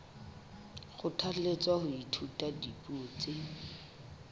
kgothalletswa ho ithuta dipuo tse